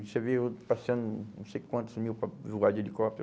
Você vê eu passeando não sei quantos mil para voar de helicóptero.